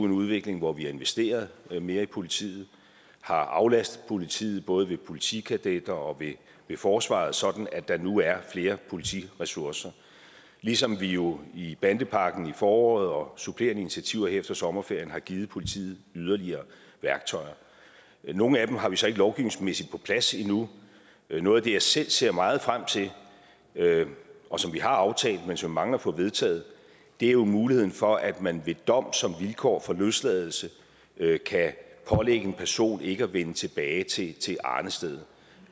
en udvikling hvor vi har investeret mere i politiet har aflastet politiet både ved politikadetter og ved forsvaret sådan at der nu er flere politiressourcer ligesom vi jo i bandepakken i foråret og supplerende initiativer her efter sommerferien har givet politiet yderligere værktøjer nogle af dem har vi så ikke lovgivningsmæssigt på plads endnu noget af det jeg selv ser meget frem til og som vi har aftalt men som vi mangler at få vedtaget er muligheden for at man ved dom som vilkår for løsladelse kan pålægge en person ikke at vende tilbage til til arnestedet